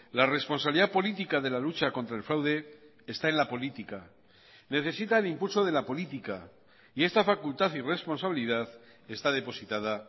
la responsabilidad política de la lucha contra el fraude está en la política necesita el impulso de la política y esta facultad y responsabilidad está depositada